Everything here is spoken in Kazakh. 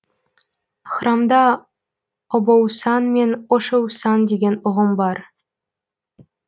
храмда обоусан мен ошеусан деген ұғым бар